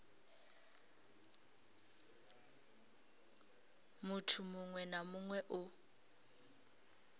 muthu muṅwe na muṅwe o